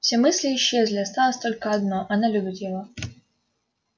все мысли исчезли осталось только одно она любит его